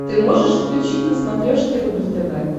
ты можешь включить на смотрешке рубль тв